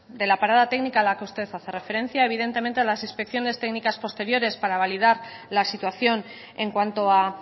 de la parada técnica a la que usted hace referencia evidentemente las inspecciones técnicas posteriores para validar la situación en cuanto a